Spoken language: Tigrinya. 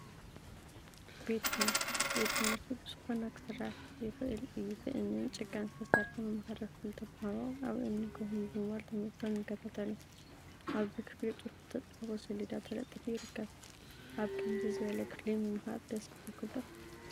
ቤት ትምህርቲ ቤት ትምህርቲ ብዝኮነ ክስራሕ ይከአል እዩ፡፡ ብእምኒን ጭቃን ዝተሰርሐ መምሃሪ ክፍሊ ተምሃሮ አብ እምኒ ኮፍ ብምባል ትምህርቶም ይከታተሉ፡፡ አብዚ ክፍሊ ፅሑፍ ዝተፀሓፎ ሴሌዳ ተለጢፉ ይርከብ፡፡ አብ ከምዚ ዝበለ ክፍሊ ምምሃር ደስ ይብለኩም ዶ?